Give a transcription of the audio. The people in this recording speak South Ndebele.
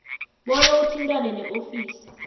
bona uthintane neofisi